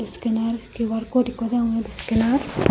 scanner Q_R code ekko degongey scanner.